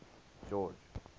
george